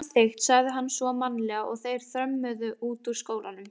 Samþykkt sagði hann svo mannalega og þeir þrömmuðu út úr skólanum.